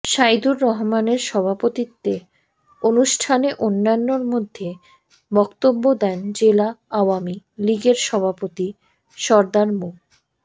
সাইদুর রহমানের সভাপতিত্বে অনুষ্ঠানে অন্যান্যের মধ্যে বক্তব্য দেন জেলা আওয়ামী লীগের সভাপতি সরদার মো